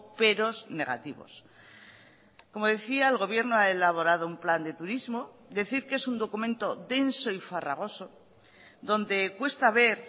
peros negativos como decía el gobierno ha elaborado un plan de turismo decir que es un documento denso y farragoso donde cuesta ver